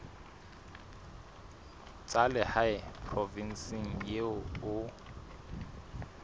tsa lehae provinseng eo o